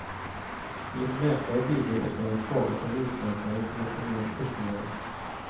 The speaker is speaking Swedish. Enligt mäklare bidrog också den svaga terminsmarknaden till att dra ner kursnivåerna.